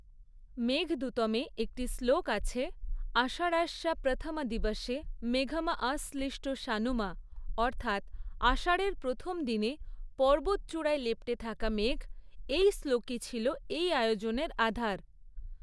মেঘদূতমে একটি শ্লোক আছে, আষাঢ়স্য প্রথম দিবসে মেঘম আশ্লীষ্ট সানুম অর্থাৎ আষাঢ়ের প্রথম দিনে পর্বত চূড়ায় লেপ্টে থাকা মেঘ, এই শ্লোকই ছিল এই আয়োজনের আধার।